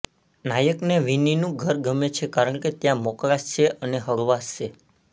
નાયકને વિનીનું ઘર ગમે છે કારણે ત્યાં મોકળાશ છે અને હળવાશ છે